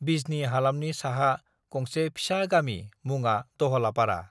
बिजनी हालामनि साहा गंसे फिसा गामि मुङा दहलापारा